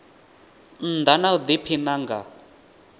nnda na u diphina nga